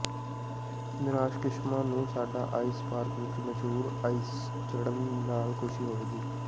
ਨਿਰਾਸ਼ ਕਿਸਮਾਂ ਨੂੰ ਸਾਡਾ ਆਇਸ ਪਾਰਕ ਵਿਚ ਮਸ਼ਹੂਰ ਆਈਸ ਚੜ੍ਹਨ ਨਾਲ ਖੁਸ਼ੀ ਹੋਵੇਗੀ